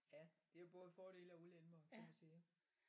Ja det jo både fordele og ulemper vil jeg sige